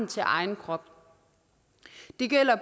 til egen krop det gælder